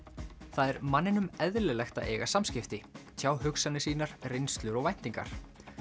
það er manninum eðlilegt að eiga samskipti tjá hugsanir sínar reynslu og væntingar